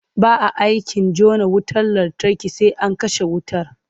Ba a aikin jona wutar lantarki sai an kashe wutar.